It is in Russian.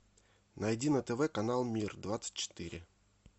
найди на тв канал мир двадцать четыре